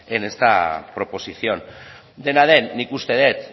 en esta proposición dena den nik uste dut